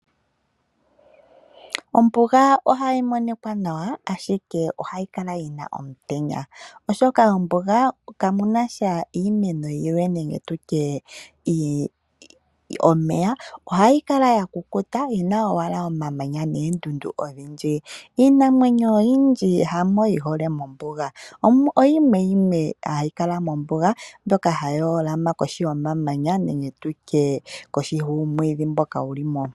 Ombuga ohayi monika nawa ashike ohayi kala yina omutenya oshoka mombuga ihamu kala iimeno yilwe nenge nditye omeya. Ohayi kala yakukuta yina owala omamanya moondundu odhindji. Iinamwenyo oyindji kayi hole mombuga, oyimwe yimwe ashike hayi kala mombuga mbyoka hayi hola ma kohi yomamanya nenge nditye kohi yuumwiidhi mboka wuli mo.